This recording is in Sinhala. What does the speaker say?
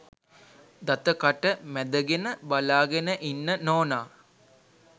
දත කට මැදගෙන බලාගෙන ඉන්න නෝනා.